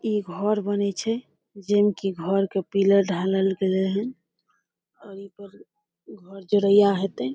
इ घर बने छै जेई में कि घर के पिलर ढालल गेलेन है और इ पर घर जोड़ैया होते।